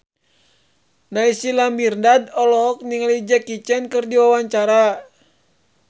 Naysila Mirdad olohok ningali Jackie Chan keur diwawancara